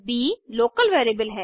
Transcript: ब local variable है